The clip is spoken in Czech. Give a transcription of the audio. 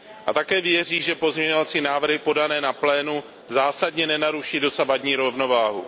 A také věří, že pozměňovací návrhy podané na plénu zásadně nenaruší dosavadní rovnováhu.